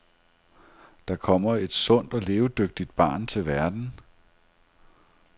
Der kommer et sundt og levedygtigt barn til verden.